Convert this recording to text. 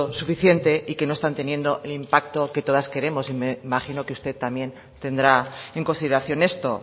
suficiente y que no están teniendo el impacto que todas queremos imagino que usted también tendrá en consideración esto